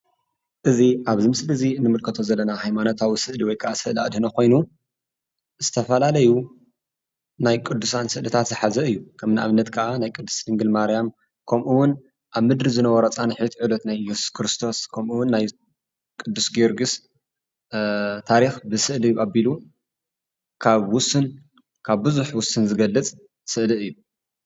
እዚ አብዚ ምስሊ እዚ እንምልከቶ ዘለና ሃይማኖታዊ ስእሊ ወይ ከአ ስእሊ አድህኖ ኮይኑ፤ ዝተፈላለዩ ናይ ቅዱሳን ስእሊታት ዝሓዘ እዩ፡፡ ከም ንአብነት ከአ ናይ ቅድስት ድንግል ማርያም ከምኡውን አብ ምድሪ ዝነበሮ ፃኒሒት ዕለት ናይ እየሱስ ክርስቶስ ከምኡውን ናይ ቅዱስ ጊዮርጊስ ታሪክ ብስእሊ አቢሉ ካብ ቡዙሕ ውስን ዝገልፅ ስእሊ እዩ፡፡